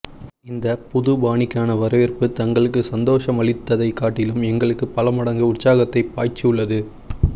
இந்த புது பாணிக்கான வரவேற்பு தங்களுக்கு சந்தோசமளித்ததை காட்டிலும் எங்களுக்கு பல மடங்கு உற்ச்சாகத்தை பாய்ச்சி உள்ளது